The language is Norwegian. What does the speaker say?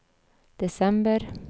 desember